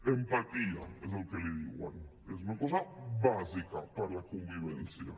empatia és com en diuen que és una cosa bàsica per a la convivència